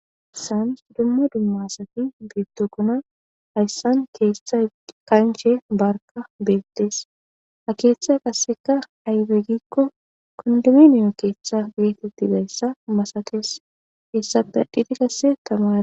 saans dumma dumma sati bitukuna hayssan keeshtha kanche barka beettees ha keeththa qasseka haybe gikko kondiminiyo keeththa geetettidayssa masakees hessape dhiti kasse tama a